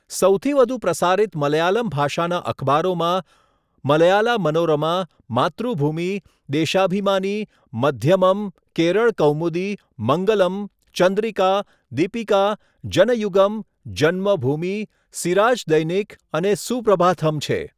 સૌથી વધુ પ્રસારિત મલયાલમ ભાષાના અખબારોમાં મલયાલા મનોરમા, માતૃભૂમિ, દેશાભિમાની, મધ્યમમ, કેરળ કૌમુદી, મંગલમ, ચંદ્રિકા, દીપિકા, જનયુગમ, જન્મભૂમિ, સિરાજ દૈનિક અને સુપ્રભાથમ છે.